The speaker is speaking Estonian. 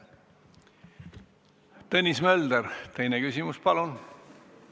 Tõnis Mölder, teine küsimus, palun!